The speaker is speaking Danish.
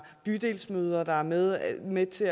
bydelsmøder er med er med til